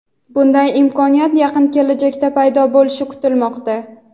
Bunday imkoniyat yaqin kelajakda paydo bo‘lishi kutilmoqda.